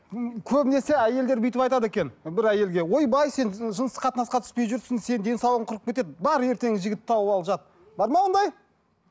м көбінесе әйелдер бүйтіп айтады екен бір әйелге ойбай сен жыныстық қатынасқа түспей жүрсің сенің денсаулығың құрып кетеді бар ертең жігіт тауып ал жат бар ма ондай